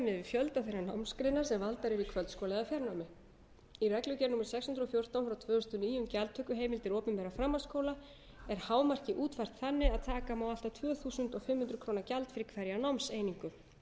fjölda þeirra námsgreina sem valdar yrðu í kvöldskóla eða fjarnámi í reglugerð númer sex hundruð og fjórtán tvö þúsund og níu um gjaldtökuheimildir opinberra framhaldsskóla er hámarkið útfært þannig að taka má allt að tvö þúsund fimm hundruð króna gjald fyrir hverja